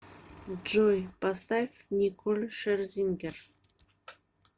джой поставь николь шерзингер